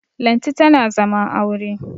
Lanti tana zaman aure